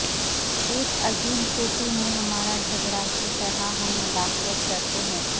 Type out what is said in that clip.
ایک عظیم چوٹی میں ہمارا جھگڑا کی طرح ہم مداخلت کرتے ہیں